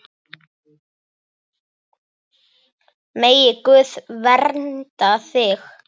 Megi Guð vernda þig.